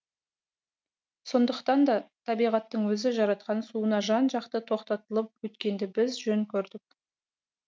сондықтан да табиғаттың өзі жаратқан суына жан жақты тоқтатылып өткенді біз жөн көрдік